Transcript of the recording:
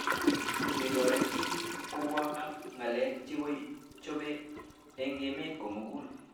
Ketoret pik kobwa ak ng'alek chechope eng' emet komugul